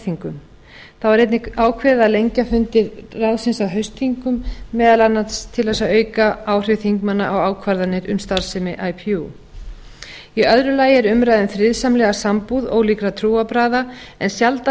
vorþingum þá er einnig ákveðið að lengja fundi ráðsins á haustþingum meðal annars til að auka áhrif þingmanna á ákvarðanir um starfsemi ipu í öðru lagi er umræða um friðsamlega sambúð ólíkra trúarbragða en sjaldan